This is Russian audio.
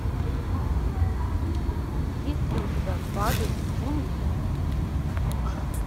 есть ли у тебя павел лунгин